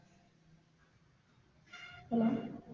hello